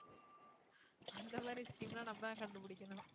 அந்த மாதிரி scheme ன்னா நம்மதான் கண்டுபிடிக்கணும்.